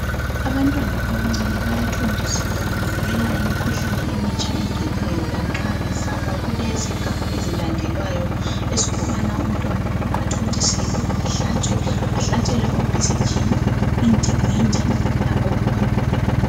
Abantwana abancane bayathontiselwa kuvikela imikhuhlane emitsha engenayo lanxa bezalwa kule zigaba ezilandelwayo ezokubana umntwana athontiselwe ehlatshwe ahlatshelwe o bcg labo indingindi labo polio.